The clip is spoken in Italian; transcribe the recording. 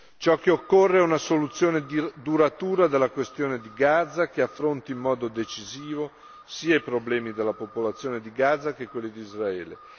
Ciò che occorre è una soluzione duratura alla questione di Gaza, che affronti in modo decisivo sia i problemi della popolazione di Gaza, che quelli di Israele.